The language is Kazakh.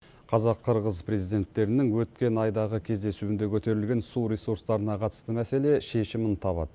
қазақ қырғыз президенттерінің өткен айдағы кездесуінде көтерілген су ресурстарына қатысты мәселе шешімін табады